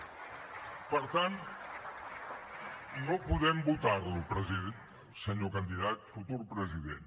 per tant no podem votar lo senyor candidat futur president